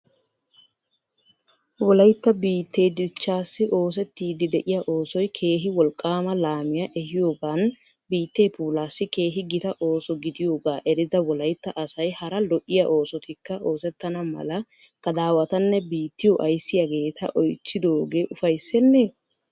Wolaytta biittee dichchaassi oosettiddi de'iya oosoy keehi wolqqama laamiya ehiyoogan biittee puulaassi keehi gita ooso gidiyooga erida wolaytta asay hara lo'iya oosotikka oosetana mala gadawatanne biittiyo ayissiyaageeta oychidooge uffayssene?